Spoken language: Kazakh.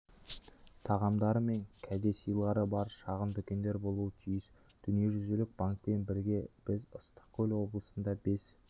тағамдары мен кәдесыйлары бар шағын дүкендер болуы тиіс дүниежүзілік банкпен бірге біз ыссық-көл облысында бес